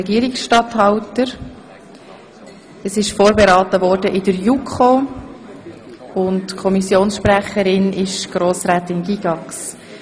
Die JuKo hat das Geschäft vorberaten, und die Kommissionspräsidentin präsentiert das Geschäft.